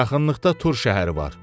Yaxınlıqda Tur şəhəri var.